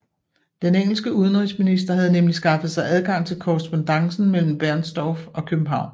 Den engelske udenrigsminister havde nemlig skaffet sig adgang til korrespondancen mellem Bernstorff og København